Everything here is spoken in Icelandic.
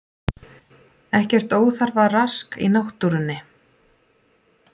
Ekkert óþarfa rask í náttúrunni